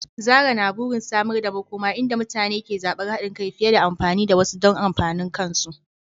Zarah na burin samar da makoma inda mutane ke zabar haɗin kai fiye da amfani da wasu don amfanin kansu.